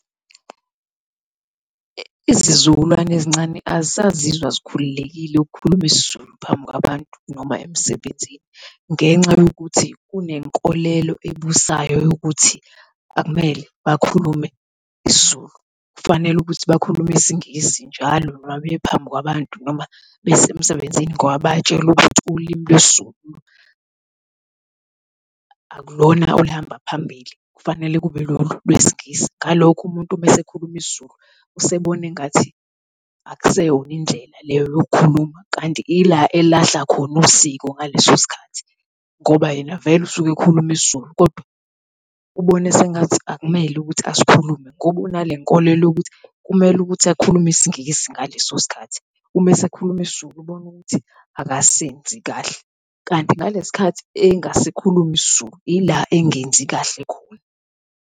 Izizukulwane ezincane azisazizwa zikhululekile ukhuluma isiZulu phambi kwabantu noma emsebenzini. Ngenxa yokuthi kunenkolelo ebusayo yokuthi akumele bakhulume isiZulu, kufanele ukuthi bakhulume isingisi njalo noma bephambi kwabantu noma besemsebenzini ngaba bayatshelwa ukuthi ulimi lwesiZulu akulona oluhamba phambili, kufanele kube lolu lwesingisi. Ngalokho umuntu uma esekhuluma isiZulu usebona engathi akusiyona indlela leyo yokukhuluma, kanti ila elahla khona usiko ngaleso sikhathi ngoba yena vele usukhuluma isiZulu kodwa ubone sengathi akumele ukuthi asikhulume ngoba unalenkolelo yokuthi kumele ukuthi akhulume isingisi ngaleso sikhathi, uma sekhuluma isiZulu ubone ukuthi akasenzi kahle, kanti ngalesi sikhathi engasasikhulumi isiZulu ila engenzi kahle khona.